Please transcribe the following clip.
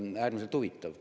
Äärmiselt huvitav!